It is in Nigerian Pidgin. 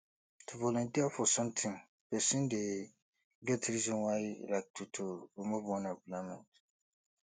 to volunteer for something persin de get reason why like to to remove unemployment